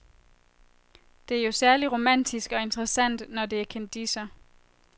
Det er jo særligt romantisk og interessant, når det er kendisser.